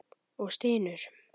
Og stynur.